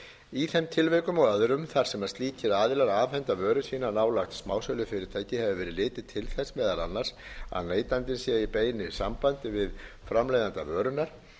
í þeim tilvikum og öðrum þar sem slíkir aðilar afhenda vöru sína nálægt smásölufyrirtæki hefur verið litið til þess meðal annars að neytandinn sé í beinu sambandi við framleiðanda vörunnar